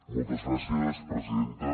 moltes gràcies presidenta